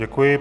Děkuji.